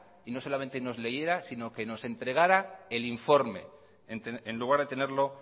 y no solamente nos leyera sino que nos entregara el informe en lugar de tenerlo